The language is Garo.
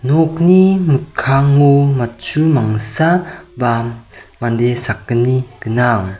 nokni mikkango matchu mangsa ba mande sakgni gnang.